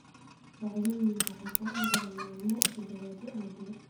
Dhacdooyinku waxay socon karaan maalmo, toddobaadyo, ama bilo.